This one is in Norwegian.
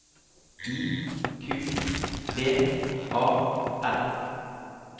I Q B A L